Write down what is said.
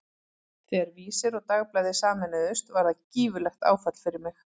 Þegar Vísir og Dagblaðið sameinuðust var það gífurlegt áfall fyrir mig.